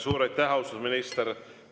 Suur aitäh, austatud minister!